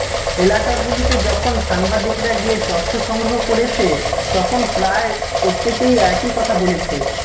এলাকাগুলিতে যখন সাংবাদিকরা গিয়ে তথ্য সংগ্রহ করেছে তখন প্রায় প্রত্যেকেই একই কথা বলেছে